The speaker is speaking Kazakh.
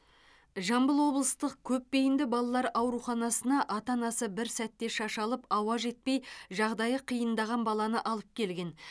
жамбыл облыстық көпбейінді балалар ауруханасына ата анасы бір сәтте шашалып ауа жетпей жағдайы қиындаған баланы алып келген